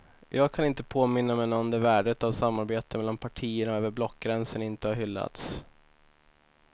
Jag kan inte påminna mig någon där värdet av samarbete mellan partierna och över blockgränsen inte har hyllats.